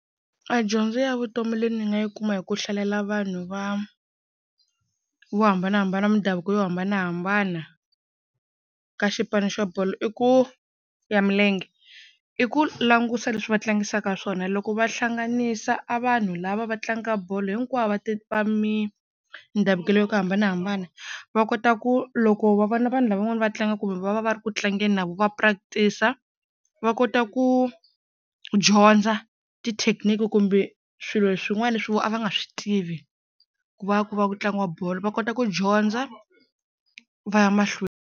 A dyondzo ya vutomi leyi ni nga yi kuma hi ku hlalela vanhu va vo hambanahambana mindhavuko yo hambanahambana ka xipano xa bolo i ku ya milenge i ku langusa leswi va tlangisaka swona loko va hlanganisa a vanhu lava va tlangaka bolo hinkwavo va va mindhavuko ya ku hambanahambana va kota ku loko va vona vanhu lava van'wana va tlanga kumbe va va va ri ku tlangeni na vona va practice-a va kota ku dyondza ti-technique kumbe swilo swin'wana leswi vo a va nga swi tivi ku va ku va ku tlangiwa bolo va kota ku dyondza va ya mahlweni.